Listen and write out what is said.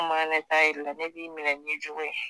kuma ne t'a yir'i la ne b'i minɛ n'i cogo ye.